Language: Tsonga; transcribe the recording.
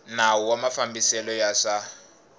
nawu wa mafambiselo ya swa